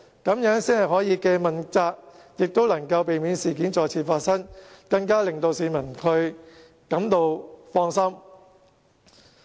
這樣才可以既問責，亦能夠避免事件再次發生，令市民更加感到放心。